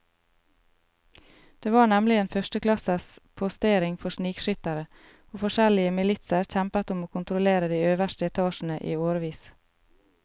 Det var nemlig en førsteklasses postering for snikskyttere, og forskjellige militser kjempet om å kontrollere de øverste etasjene i årevis.